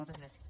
moltes gràcies